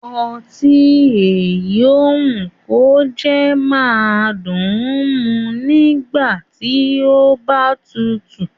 Ọtí èyí ó wù kó jẹ́ máa dùn mu nígbà tí ó bá tutù